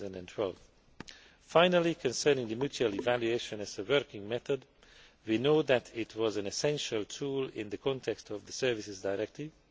2012. Finally, concerning the mutual evaluation of the working method, we know that it is an essential tool in the context of the Services Directive